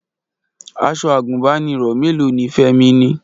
Aṣọ àgùnbánirọ̀ mélòó ni Fẹ́mi ni?